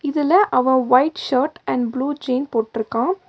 இதுல அவ white shirt and blue jean போட்ருக்கா.